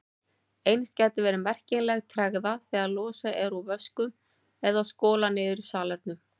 Eins gæti verið merkjanleg tregða þegar losað er úr vöskum eða skolað niður í salernum.